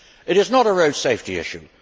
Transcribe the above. It is not a road safety issue.